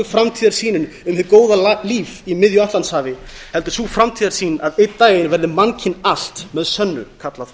framtíðarsýnin um hið góða líf í miðju atlantshafi heldur sú framtíðarsýn að einn daginn verði mannkyn allt með sönnu kallað